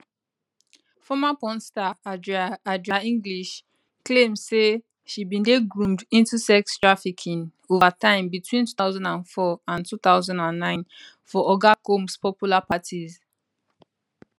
former porn star adria adria english claim say she bin dey groomed into sex trafficking over time between 2004 and 2009 for oga combs popular parties